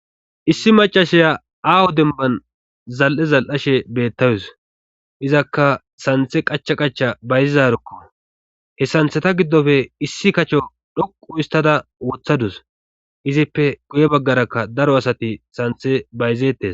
Issi macashaya aaho demban zal7e zal7ashe bettawus izakka santhe qacha qacha bayzizarkko he santheta giddofe issi kacho dhoqu istada wothadus izippe guye baggarakka daro asati santhe bayzettes.